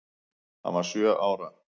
Hann var sjö ára.